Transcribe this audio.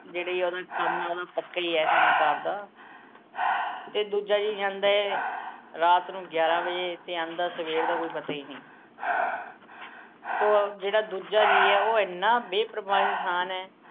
ਜਿਹੜਾ ਜੀ ਉਹਦਾ ਕੰਮ ਐ, ਉਹਦਾ ਪੱਕਾ ਈ ਐ ਕੰਮ ਕਾਰ ਦਾ। ਤੇ ਦੂਜੇ ਜੀਅ ਜਾਂਦਾ ਰਾਤ ਨੂੰ ਗਿਆਰਾ ਵਜੇ ਤੇ ਆਉਂਦਾ ਸਵੇਰ, ਦਾ ਕੋਈ ਪਤਾ ਈ ਨੀ। ਸੋ ਜਿਹੜਾ ਦੂਜਾ ਜੀਅ ਐ, ਉਹ ਇੰਨਾ ਬੇਪਰਵਾਹ ਇਨਸਾਨ ਐ